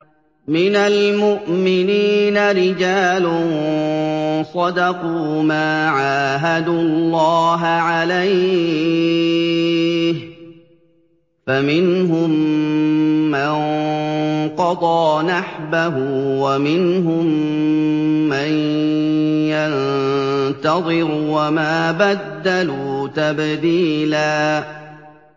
مِّنَ الْمُؤْمِنِينَ رِجَالٌ صَدَقُوا مَا عَاهَدُوا اللَّهَ عَلَيْهِ ۖ فَمِنْهُم مَّن قَضَىٰ نَحْبَهُ وَمِنْهُم مَّن يَنتَظِرُ ۖ وَمَا بَدَّلُوا تَبْدِيلًا